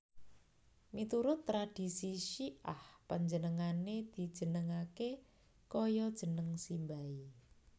Miturut tradhisi Syi ah panjenengané dijenengaké kaya jeneng simbahé